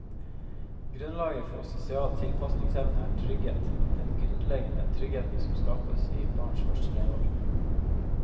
Grunnlaget for sosial tilpasningsevne er trygghet, den grunnleggende trygghet som skapes i barns første leveår.